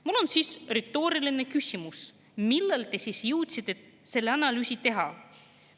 Mul on siis retooriline küsimus: millal te jõudsite selle analüüsi teha?